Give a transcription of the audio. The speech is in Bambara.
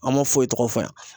An ma foyi tɔgɔ fɔ yan.